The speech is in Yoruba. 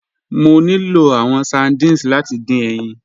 Mọ̀ ní lọ̀ awọn sardines láti dín ẹyin.